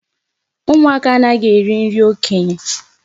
Ụmụaka anaghị eri nri okenye.